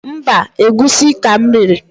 Mbaǃ Egwusi ka m riri.